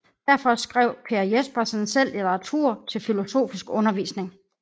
Derfor skrev Per Jespersen selv litteratur til filosofisk undervisning